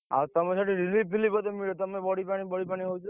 ଆଉ ତମର ସେଠି relief ଫିଲିପ ବୋଧେ ମିଳିବ? ତମେ ବଢିପାଣି ବଢିପାଣି ହଉଛ,